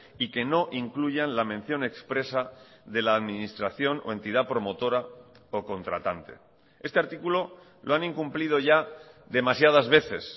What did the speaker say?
y que no incluyan la mención expresa de la administración o entidad promotora o contratante este artículo lo han incumplido ya demasiadas veces